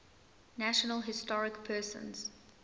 national historic persons